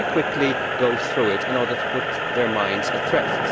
Let me quickly go through it in order to put their minds at rest.